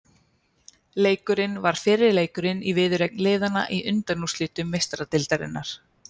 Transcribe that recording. Leikurinn var fyrri leikurinn í viðureign liðanna í undanúrslitum Meistaradeildarinnar.